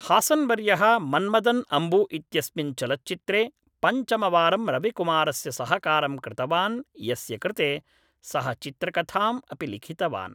हासन्वर्यः मन्मदन् अम्बु इत्यस्मिन् चलच्चित्रे पञ्चमवारं रविकुमारस्य सहकारं कृतवान् यस्य कृते सः चित्रकथाम् अपि लिखितवान्